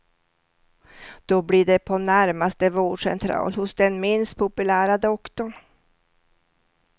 Då blir det på närmaste vårdcentral hos den minst populära doktorn.